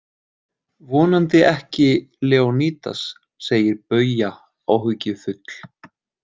Vonandi ekki Leonídas, segir Bauja áhyggjufull.